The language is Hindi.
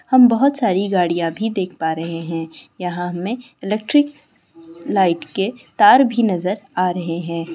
हम बहुत सारी गाड़ियां भी देख पा रहे हैं। यहां हमें इलेक्ट्रिक लाइट के तार भी नजर आ रहे हैं।